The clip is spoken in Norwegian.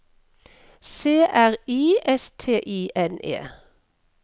C R I S T I N E